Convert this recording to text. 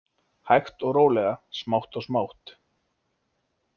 Hægt og rólega, smátt og smátt.